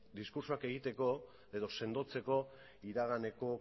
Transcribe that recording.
diskurtsoak egiteko edo sendotzeko iraganeko